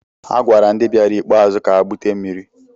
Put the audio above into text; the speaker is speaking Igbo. A gwara ndị bịara ikpeazụ ka ha bute mmiri.